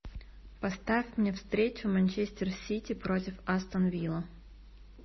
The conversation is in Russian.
поставь мне встречу манчестер сити против астон вилла